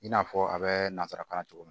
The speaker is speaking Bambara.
I n'a fɔ a bɛ nanzarakan na cogo min na